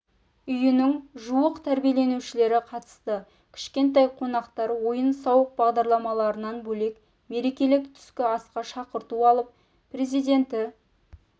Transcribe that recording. үйінің жуық тәрбиеленушілері қатысты кішкентай қонақтар ойын-сауық бағдарламаларынан бөлек мерекелік түскі асқа шақырту алып президенті